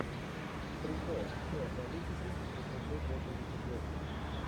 прикол все о политике восемьсот восемьдесят восемь